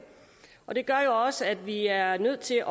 og det gør også at vi er nødt til at